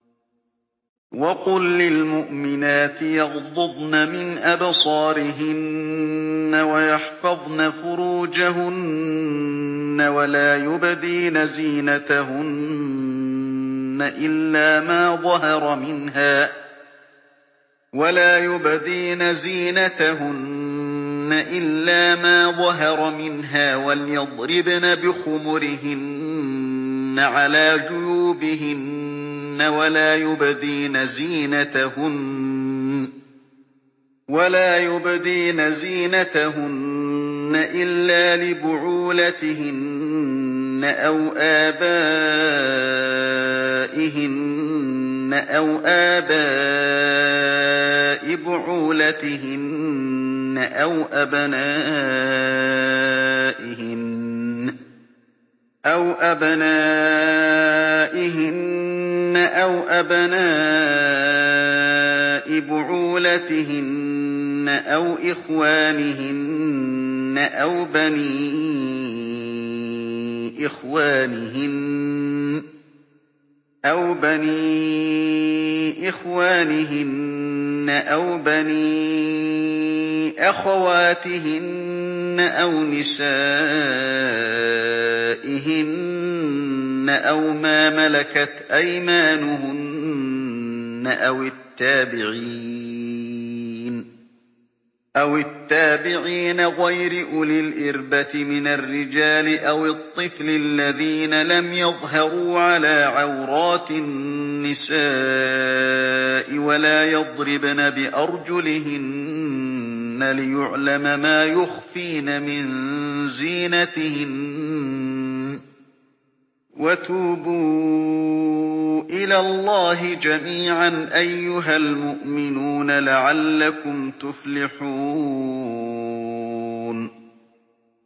وَقُل لِّلْمُؤْمِنَاتِ يَغْضُضْنَ مِنْ أَبْصَارِهِنَّ وَيَحْفَظْنَ فُرُوجَهُنَّ وَلَا يُبْدِينَ زِينَتَهُنَّ إِلَّا مَا ظَهَرَ مِنْهَا ۖ وَلْيَضْرِبْنَ بِخُمُرِهِنَّ عَلَىٰ جُيُوبِهِنَّ ۖ وَلَا يُبْدِينَ زِينَتَهُنَّ إِلَّا لِبُعُولَتِهِنَّ أَوْ آبَائِهِنَّ أَوْ آبَاءِ بُعُولَتِهِنَّ أَوْ أَبْنَائِهِنَّ أَوْ أَبْنَاءِ بُعُولَتِهِنَّ أَوْ إِخْوَانِهِنَّ أَوْ بَنِي إِخْوَانِهِنَّ أَوْ بَنِي أَخَوَاتِهِنَّ أَوْ نِسَائِهِنَّ أَوْ مَا مَلَكَتْ أَيْمَانُهُنَّ أَوِ التَّابِعِينَ غَيْرِ أُولِي الْإِرْبَةِ مِنَ الرِّجَالِ أَوِ الطِّفْلِ الَّذِينَ لَمْ يَظْهَرُوا عَلَىٰ عَوْرَاتِ النِّسَاءِ ۖ وَلَا يَضْرِبْنَ بِأَرْجُلِهِنَّ لِيُعْلَمَ مَا يُخْفِينَ مِن زِينَتِهِنَّ ۚ وَتُوبُوا إِلَى اللَّهِ جَمِيعًا أَيُّهَ الْمُؤْمِنُونَ لَعَلَّكُمْ تُفْلِحُونَ